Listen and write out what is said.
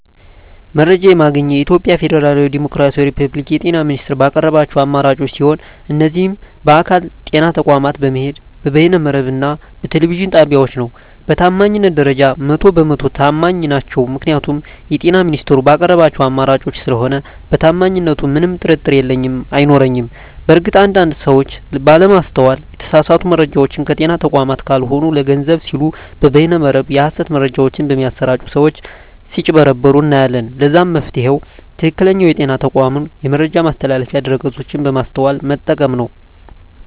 መረጃ የማገኘዉ የኢትዮጵያ ፌደራላዊ ዲሞክራሲያዊ የፐብሊክ የጤና ሚኒስቴር ባቀረባቸዉ አማራጮች ሲሆን እነሱም በአካል (ጤና ተቋማት በመሄድ)፣ በበይነ መረብ እና በቴሌቪዥን ጣቢያወች ነዉ። በታማኝነት ደረጃ 100 በ 100 ተማኝ ናቸዉ ምክንያቱም የጤና ሚኒስቴሩ ባቀረባቸዉ አማራጮች ስለሆነ በታማኝነቱ ምንም ጥርጥር የለኝም አይኖረኝም። በእርግጥ አንድ አንድ ሰወች ባለማስተዋል የተሳሳቱ መረጃወችን ከጤና ተቋማት ካልሆኑ ለገንዘብ ሲሉ በበይነ መረብ የሀሰት መረጃወች በሚያሰራጪ ሰወች ስጭበረበሩ እናያለን ለዛም መፍትሄዉ ትክክለኛዉ የጤና ተቋሙን የመረጃ ማስተላለፊያ ድረገፆች በማስተዋል መጠቀም ነዉ።